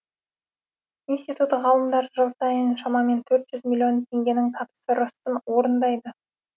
институт ғалымдары жыл сайын шамамен төрт жүз миллион теңгенің тапсырысын орындайды